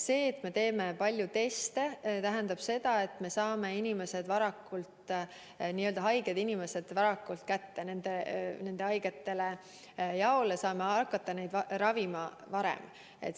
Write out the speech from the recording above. See, et me teeme palju teste, tähendab seda, et me saame haiged inimesed varakult teada ja saame hakata neid varem ravima.